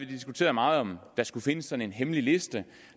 diskuteret meget om der skulle findes sådan en hemmelig liste